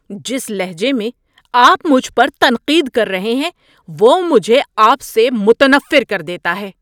جس لہجے میں آپ مجھ پر تنقید کر رہے ہیں وہ مجھے آپ سے متنفر کر دیتا ہے۔